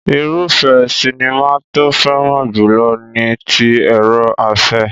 Irúfẹ́ sinimá tó fẹ́ràn jùlọ ni ti èrò-afẹ́.